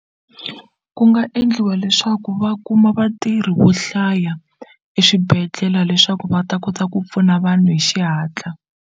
Ku nga endliwa leswaku va kuma vatirhi vo hlaya eswibedhlele leswaku va ta kota ku pfuna vanhu hi xihatla.